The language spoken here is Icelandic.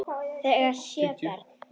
Þau eiga sjö börn.